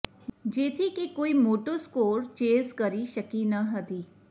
જેથી કે કોઇ મોટો સ્કોર ચેઝ કરી શકી ન હતી